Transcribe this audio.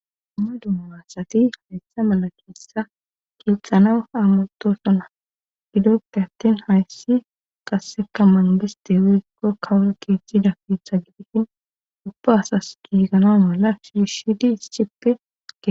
dumma dumaassati hayssa mala kinssa kiixxanawu aamutosonna gidoppe attin hayssi qasseka mangiste wiikko kawul kiiththida kiitha gidhihin ubba asas giigana mala sushidi ischippege